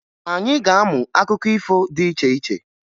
Anyị ga-amụ akụkọ ifo dị iche iche